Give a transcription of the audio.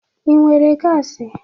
Ị nwere gasi?